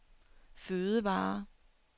fødevarer